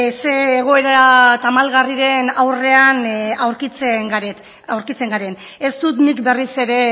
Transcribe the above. ze egoera tamalgarriren aurrean aurkitzen garen ez dut nik berriz ere